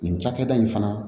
Nin cakɛda in fana